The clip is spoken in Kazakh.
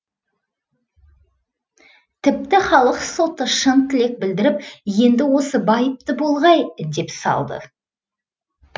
тіпті халық соты шын тілек білдіріп енді осы байыпты болғай деп салды